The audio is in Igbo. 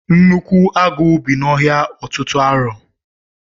Nnukwu agụ bị na ọhịa ọtụtụ arọ.